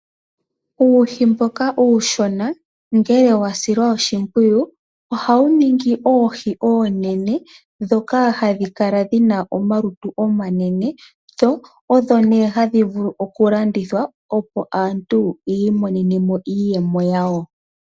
Uuhi mboka uushona ngele wa silwa oshimpwiyu ohawu ningi oohi oonene ndhoka hadhi kala dhi na omalutu omanene dho odho nee hadhi vulu okulandithwa, opo aantu yi imonene mo iiyemo yawo.